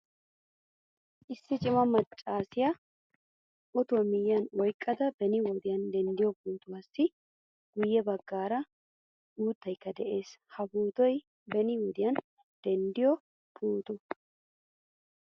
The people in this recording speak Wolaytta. Issi cima maccasiyaa otuwaa miyiyan oyqqada beni wode dendido pootuwaassi guye baggaara uuttaykka de'ees. Ha pootoy beni wode denttido pooto.